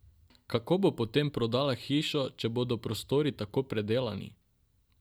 Kako bo potem prodala hišo, če bodo prostori tako predelani?